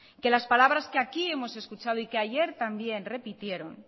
que las palabras que aquí hemos escuchado y que ayer también repitieron